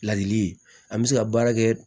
Ladili an bɛ se ka baara kɛ